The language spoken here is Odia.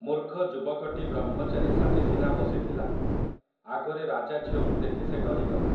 ମୂର୍ଖ ଯୁବକଟି ବ୍ରହ୍ମଚାରୀ ସାଜି ସିନା ବସିଥିଲା, ଆଗରେ ରାଜାଝିଅକୁ ଦେଖି ସେ ଡରିଗଲା ।